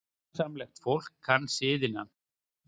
Sómasamlegt fólk kann siðina.